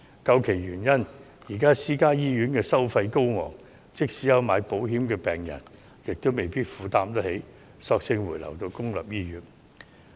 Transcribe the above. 究其原因，是由於私營醫院的收費高昂，即使買了保險的病人亦未必能夠負擔，所以乾脆回流到公營醫院。